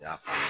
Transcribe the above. Y'a faamu